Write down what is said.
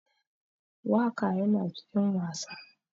Waka Yana cikin wasa.